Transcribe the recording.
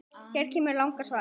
Hér kemur langa svarið